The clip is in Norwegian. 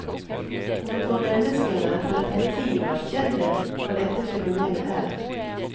Men for menneskene har det tatt tid å erkjenne hva dette fenomenet er.